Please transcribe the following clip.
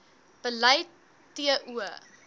beleid t o